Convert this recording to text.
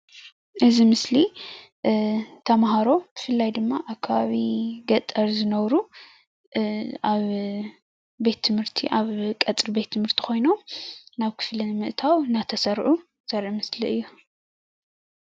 እዚ ምስሊ ተምሃሮ ብፍላይ ድማ ኣብ ከባቢ ገጠር ዝነብሩ ኣብ ቤት ትምህርቲ ኣብ ቀፅሪ ቤት ትምህርቲ ኮይኑ ናብ ክፍሊ ንምእታው እናተሰርዑ ዘርኢ ምስሊ እዩ፡፡